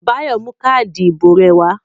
Báyọ̀ mú káádì ìbò rẹ̀ wá.